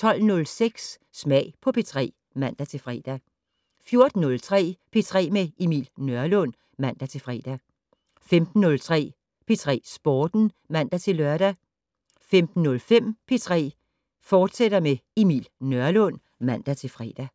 12:06: Smag på P3 (man-fre) 14:03: P3 med Emil Nørlund (man-fre) 15:03: P3 Sporten (man-lør) 15:05: P3 med Emil Nørlund, fortsat (man-fre)